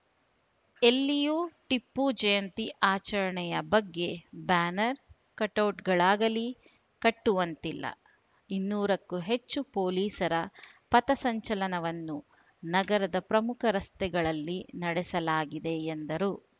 ಎಲ್ಲಿಯೂ ಟಿಪ್ಪು ಜಯಂತಿ ಆಚರಣೆಯ ಬಗ್ಗೆ ಬ್ಯಾನರ್‌ ಕಟೌಟ್‌ಗಳಾಗಲಿ ಕಟ್ಟುವಂತಿಲ್ಲ ಇನ್ನೂರಕ್ಕೂ ಹೆಚ್ಚು ಪೊಲೀಸರ ಪಥಸಂಚಲನವನ್ನು ನಗರದ ಪ್ರಮುಖ ರಸ್ತೆಗಳಲ್ಲಿ ನಡೆಸಲಾಗಿದೆ ಎಂದರು